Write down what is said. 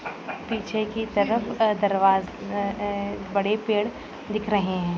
पीछे की तरफ आ दरवा अ अ बड़े पेड़ दिख रहे हैं।